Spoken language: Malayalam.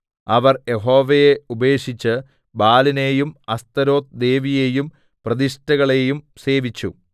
അവർ യഹോവയെ ഉപേക്ഷിച്ച് ബാലിനെയും അസ്തോരെത്ത് ദേവിയേയും പ്രതിഷ്ഠകളെയും സേവിച്ചു